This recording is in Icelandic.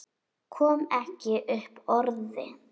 Kom ekki upp orði.